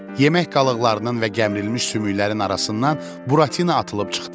Yemək qalıqlarının və gəmirilmiş sümüklərin arasından Buratina atılıb çıxdı.